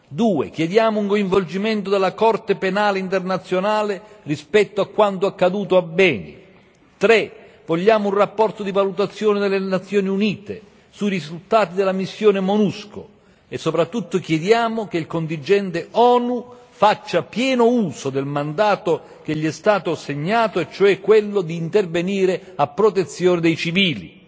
Due chiediamo un coinvolgimento della Corte penale internazionale rispetto a quanto accaduto a Beni. Tre vogliamo un rapporto di valutazione delle Nazioni Unite sui risultati della missione MONUSCO e soprattutto chiediamo che il contingente ONU faccia pieno uso del mandato che gli è stato assegnato e cioè quello di intervenire a protezione dei civili.